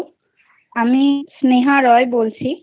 Hello আমি স্নেহা রায় বলছি